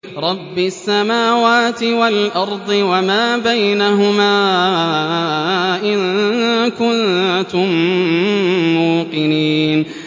رَبِّ السَّمَاوَاتِ وَالْأَرْضِ وَمَا بَيْنَهُمَا ۖ إِن كُنتُم مُّوقِنِينَ